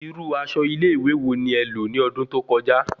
Irú aṣọ ile ìwé wò ni é lò ní ọdún tó kọjá